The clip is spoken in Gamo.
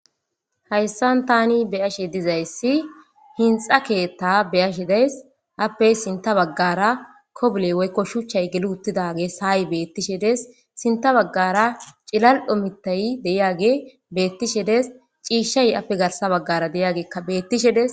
Haysan tani be'ishe dizaysi hinxa ketha be'ashe days ape sinta bagara kobile woyko shuchay geliwotidage say betishe dees sinta bagara c'ililo mithaty de'iyage betishe dees c'ishay ape garsa bagara de'yageka betishe dees.